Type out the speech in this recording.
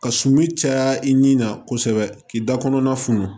Ka suman caya i nin na kosɛbɛ k'i da kɔnɔna funu